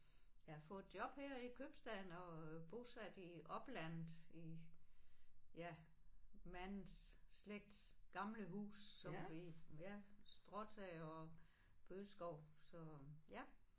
Jeg har fået job her i købstaden og bosat i oplandet i ja mands slægts gamle hus som vi ja stråtag og bøgeskov så ja